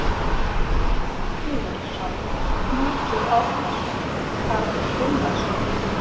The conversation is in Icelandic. Sigurðsson, Knútur Árnason, Karl Gunnarsson